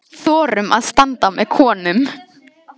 Þorum að standa með konum.